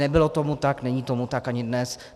Nebylo tomu tak, není tomu tak ani dnes.